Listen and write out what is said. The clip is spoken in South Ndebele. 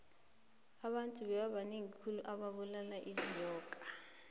abantu bebabanengi khulu bebabulala inyoka